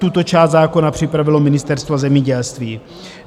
Tuto část zákona připravilo Ministerstvo zemědělství.